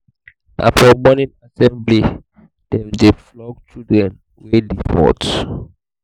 na for morning assembly prayer dem dey flog students wey default.